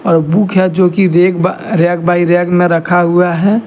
और बुक है जो कि रेक ब रैक बाई रैक न रखा हुआ है।